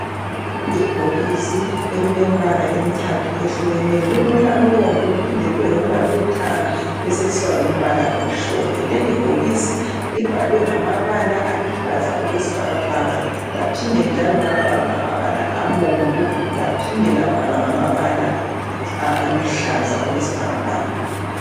Ibhokisi elilembala emithathu ehlukeneyo lilombala obomvu liphinde libe lombala olithanga libeselisiba lombala omhlophe lelibhokisi libhalwe ngamabala aluhlaza okwesibhakabhaka laphinde njalo lwabhalwa ngamabala abomvu laphinde labhalwa ngamabala aluhlaza okwesibhakabhaka.